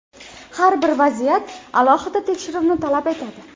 Har bir vaziyat alohida tekshiruvni talab etadi.